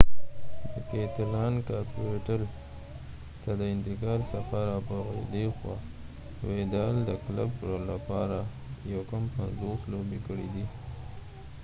د کیتلان کاپیټل ته د انتقال څخه را په ديخوا ويدال د کلب لپاره 49 لوبې کړي دي